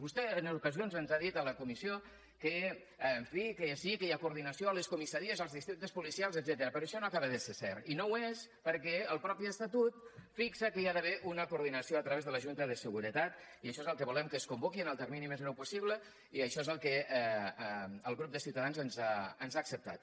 vostè en ocasions ens ha dit a la comissió que en fi sí que hi ha coordinació a les comissaries als districtes policials etcètera però això no acaba de ser cert i no ho és perquè el mateix estatut fixa que hi ha d’haver una coordinació a través de la junta de seguretat i això és el que volem que es convoqui en el termini més breu possible i això és el que el grup de ciutadans ens ha acceptat